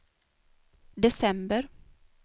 december